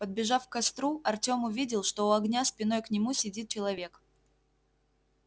подбежав к костру артем увидел что у огня спиной к нему сидит человек